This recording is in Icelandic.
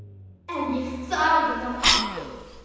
En ég þarf að ná áttum.